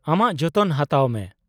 ᱟᱢᱟᱜ ᱡᱚᱛᱚᱱ ᱦᱟᱛᱟᱢ ᱢᱮ ᱾